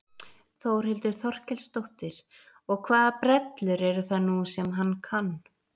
Þórhildur Þorkelsdóttir: Og hvaða brellur eru það nú sem hann kann?